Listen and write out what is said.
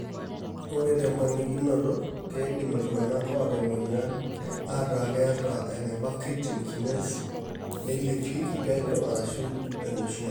Ore temponikinoto, keidim iltung'anak oata enamuoyian aataa keeta eneba creatine kinase nailepieki penyo ashu enoshiake.